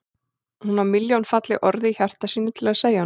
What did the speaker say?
Hún á milljón falleg orð í hjarta sínu til að segja honum.